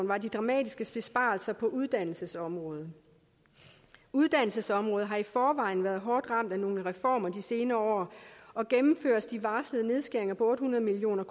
var de dramatiske besparelser på uddannelsesområdet uddannelsesområdet har i forvejen været hårdt ramt af nogle reformer de senere år og gennemføres de varslede nedskæringer på otte hundrede million